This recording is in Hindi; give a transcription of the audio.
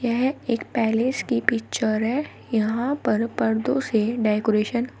यह एक पैलेस की पिक्चर है यहां पर पर्दों से डेकोरेशन --